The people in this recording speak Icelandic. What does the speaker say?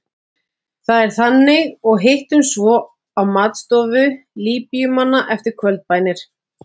Það er þannig og hittumst svo á matstofu Líbíumannanna eftir kvöldbænir.